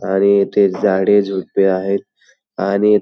आणि इथे झाडे झुडपे आहेत आणि--